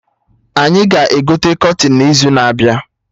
Anyị ga-egote kọtịn n'izu na-abịa